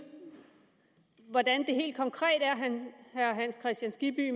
hvordan herre hans kristian skibby